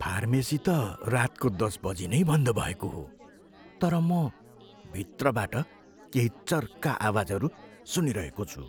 Pharmacy त रातको दस बजी नै बन्द भएको हो, तर म भित्रबाट केही चर्का आवाजहरू सुनिरहेको छु।